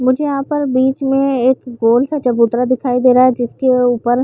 मुझे यहाँ पर बीच में एक गोल सा चबूतरा दिखाई दे रहा है जिसके ऊपर--